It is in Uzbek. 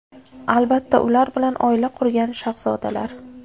Albatta, ular bilan oila qurgan shahzodalar.